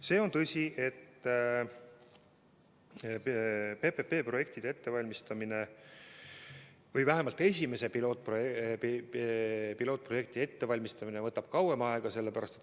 See on tõsi, et PPP-projektide ettevalmistamine või vähemalt esimese pilootprojekti ettevalmistamine võtab kauem aega.